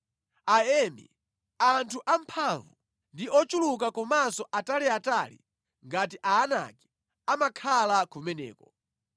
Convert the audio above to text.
(Aemi, anthu amphamvu ndi ochuluka komanso ataliatali ngati Aanaki amakhala kumeneko.